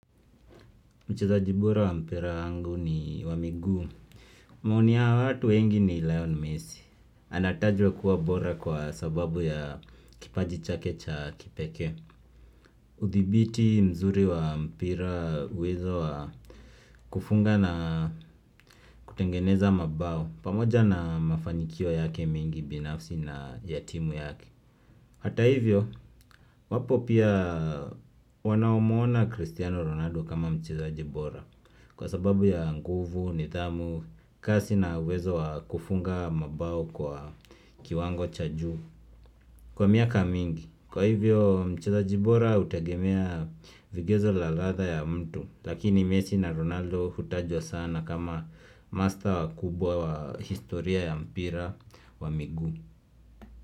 Mchezaji bora wa mpira wangu ni wa miguu maoni ya watu wengi ni Lionel Messi Anatajwa kuwa bora kwa sababu ya kipaji chake cha kipekee udhibiti mzuri wa mpira uwezo wa kufunga na kutengeneza mabao pamoja na mafanikio yake mengi binafsi na ya timu yake Hata hivyo wapo pia wanaomuona Cristiano Ronaldo kama mchezaji bora Kwa sababu ya nguvu nidhamu kasi na uwezo wa kufunga mabao kwa kiwango cha juu Kwa miaka mingi kwa hivyo mchezaji bora hutegemea vigezo na ladha ya mtu lakini Messi na Ronaldo hutajwa sana kama mastaa wakubwa wa historia ya mpira wa miguu.